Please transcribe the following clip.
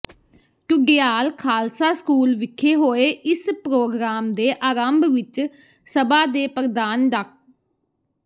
Dhudial Khalsa school ਵਿਖੇ ਹੋਏ ਇਸ ਪ੍ਰੋਗਰਾਮ ਦੇ ਆਰੰਭ ਵਿਚ ਸਭਾ ਦੇ ਪ੍ਰਧਾਨ ਡਾ